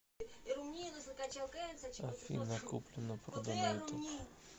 афина куплено продано ютуб